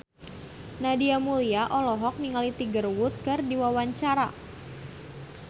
Nadia Mulya olohok ningali Tiger Wood keur diwawancara